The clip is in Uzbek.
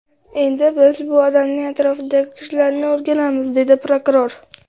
Endi biz bu odamning atrofidagi kishilarni o‘rganamiz”, dedi prokuror.